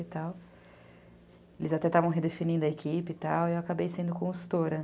Eles até estavam redefinindo a equipe e eu acabei sendo consultora.